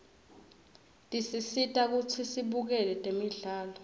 tisisita kutsi sibukele temdlalo